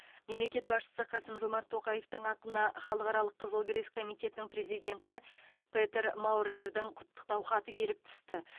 мемлекет басшысы қасым жомарт тоқаевтың атына халықаралық қызыл крест комитетінің президенті петер маурердің құттықтау хаты келіп түсті